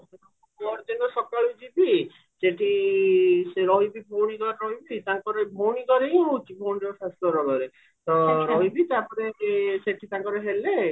ପହରଦିନ ସକାଳୁ ଯିବି ସେଠି ରହିବି ପୁଣି ଭଉଣୀ ଘରେ ରହିବି ତାଙ୍କର ଭଉଣୀ ଘରେ ହିଁ ହଉଚି ଭଉଣୀର ଶାଶୁ ଘର ଗାଁରେ ତ ରହିବି ସେଠି ତାଙ୍କର ହେଲେ